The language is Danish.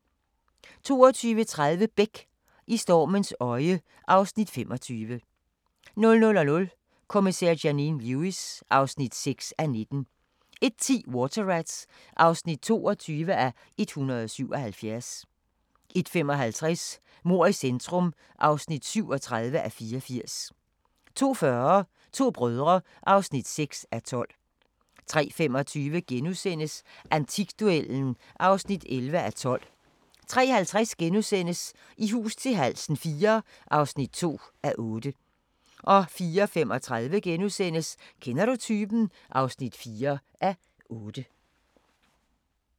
22:30: Beck: I stormens øje (Afs. 25) 00:00: Kommissær Janine Lewis (6:19) 01:10: Water Rats (22:177) 01:55: Mord i centrum (37:84) 02:40: To brødre (6:12) 03:25: Antikduellen (11:12)* 03:50: I hus til halsen IV (2:8)* 04:35: Kender du typen? (4:8)*